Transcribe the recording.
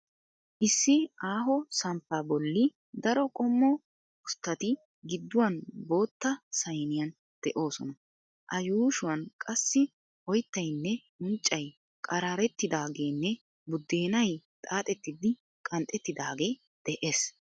Issi aaho samppaa bolli daro qommo usttati gidduwan bootta sayniyan de'oosona. A yuushuwan qassi oyttaynne unccay qaraarettidaageenne buddeenay xaaxettidi qanxettidaagee de'ees.